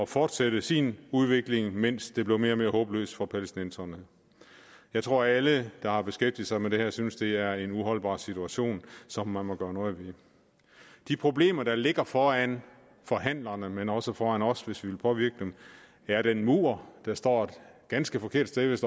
fortsætte sin udvikling mens det blev mere og mere håbløst for palæstinenserne jeg tror at alle der har beskæftiget sig med det her synes at det er en uholdbar situation som man må gøre noget ved de problemer der ligger foran forhandlerne men også foran os hvis vi vil påvirke dem er den mur der står et ganske forkert sted hvis